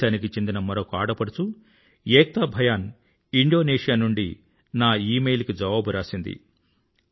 దేశానికి చెందిన మరొక ఆడపడుచు ఏక్తా భయాన్ ఇండోనేషియా నుండి నా ఈమెయిల్ కి జవాబు రాసింది